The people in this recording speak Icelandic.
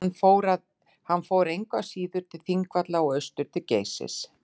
hann fór engu að síður til þingvalla og austur til geysis